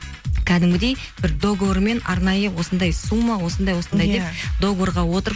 кәдімгідей бір договормен арнайы осындай сумма осындай осындай деп договорға отырып